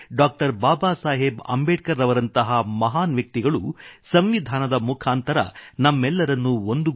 ಬಾಬಾಸಾಹೆಬ್ ಅಂಬೇಡ್ಕರ್ ರವರಂತಹ ಮಹಾನ್ ವ್ಯಕ್ತಿಗಳು ಸಂವಿಧಾನದ ಮುಖಾಂತರ ನಮ್ಮೆಲ್ಲರನ್ನೂ ಒಂದುಗೂಡಿಸಿದ್ದಾರೆ